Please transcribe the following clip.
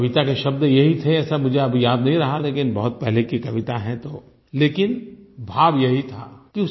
ये कविता के शब्द यही थे ऐसा मुझे अब याद नहीं रहा लेकिन बहुत पहले की कविता है तो लेकिन भाव यही था